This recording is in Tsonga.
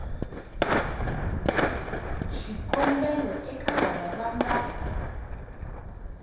swikombelo eka lava va nga